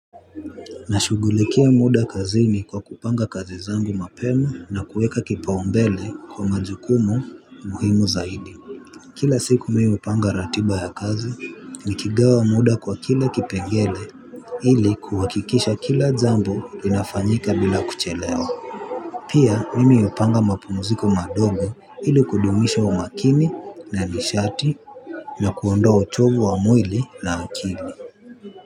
Nashushughulikia muda kazini kwa kupanga kazi zangu mapema na kuweka kipao mbele kwa majukumu muhimu zaidi. Kila siku mimi hupanga ratiba ya kazi ni kigawa muda kwa kila kipengele ili kuhakikisha kila jambo linafanyika bila kuchelewa. Pia nimi hupanga mapumziko madogo ili kudumisha umakini na nishati na kuondoa uchovu wa mwili na akili.